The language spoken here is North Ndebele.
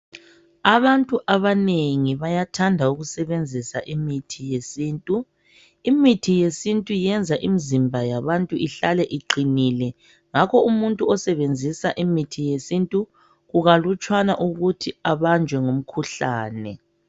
Abantu abanengi bayathanda ukusebenzisa imithi yesintu imithi yesintu iyenza imzimba yabantu ihlale iqinile ngakho umuntu osebenzisa imithi yesintu kukalutshwana ukuthi abanjwe ngumkhuhlane.